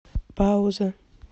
пауза